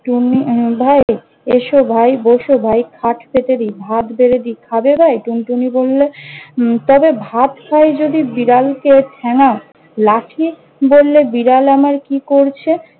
টুনটুনি ভাই, এসো ভাই, বস ভাই, খাট পেতে দি, ভাত বেড়ে দি, খাবে ভাই? টুনটুনি বললে- উম তবে ভাত খাই যদি বিড়ালকে ঠ্যাঙ্গাও। লাঠি বললে- বিড়াল আমার কি করছে?